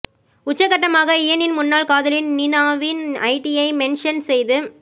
உச்சக்கட்டமாக இயனின் முன்னாள் காதலி நீநாவின் ஐடியை மென்ஷன் செய்து